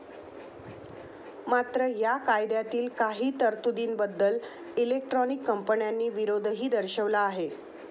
मात्र, या कायद्यातील काही तरतुदीबद्दल इलेक्ट्रॉनिक कंपन्यांनी विरोधही दर्शवला आहे.